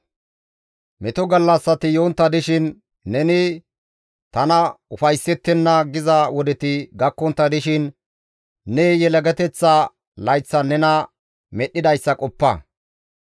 Meto gallassati yontta dishin neni, «Tana ufayssettenna» giza wodeti gakkontta dishin ne yelagateththa layththan nena Medhdhidayssa qoppa.